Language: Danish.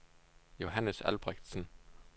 Johannes Albrechtsen